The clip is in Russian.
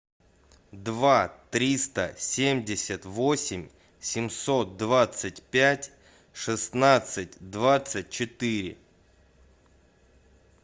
два триста семьдесят восемь семьсот двадцать пять шестнадцать двадцать четыре